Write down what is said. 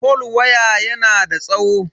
fol waya yana da tsawo.